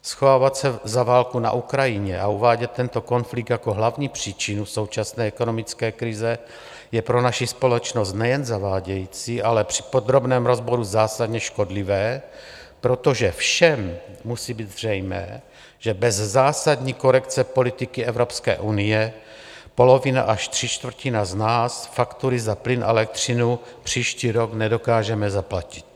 Schovávat se za válku na Ukrajině a uvádět tento konflikt jako hlavní příčinu současné ekonomické krize je pro naši společnost nejen zavádějící, ale při podrobném rozboru zásadně škodlivé, protože všem musí být zřejmé, že bez zásadní korekce politiky Evropské unie polovina až tři čtvrtiny z nás faktury za plyn a elektřinu příští rok nedokážeme zaplatit.